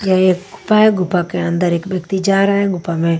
यह एक गुफा है गुफा के अंदर एक व्यक्ति जा रहा है गुफा में--